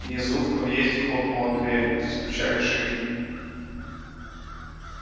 внизу в подъезде хлопнула дверь застучали шаги